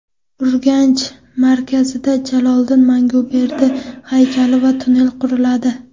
Urganch markazida Jaloliddin Manguberdi haykali va tunnel quriladi.